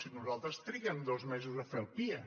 si nosaltres triguem dos mesos a fer el pia